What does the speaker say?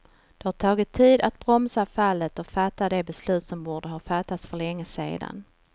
Det har tagit tid att bromsa fallet och fatta de beslut som borde ha fattats för länge sedan.